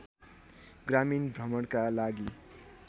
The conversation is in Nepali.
ग्रामीण भ्रमणका लागि